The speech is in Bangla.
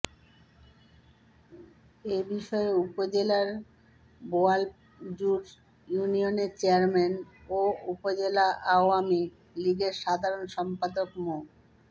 এ বিষয়ে উপজেলার বোয়ালজুড় ইউনিয়নের চেয়ারম্যান ও উপজেলা আওয়ামী লীগের সাধারণ সম্পাদক মো